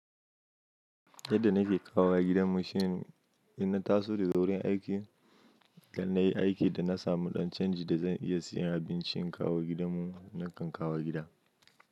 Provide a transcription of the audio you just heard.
Yadda nake kawowa gidanmu shine idan na taso da saurin aiki, idan na yi aiki da na samu ɗan canji da zan iya siyan abinci in kawo gidanmu, nakan kawo gida.